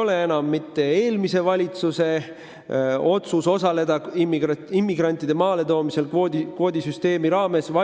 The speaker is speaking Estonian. oli eelmise valitsuse otsus osaleda immigrantide vastuvõtmises kvoodisüsteemi raames.